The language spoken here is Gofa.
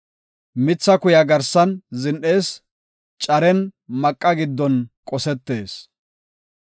Mitha kuya garsan zin7ees; caren maqa giddon qosetees.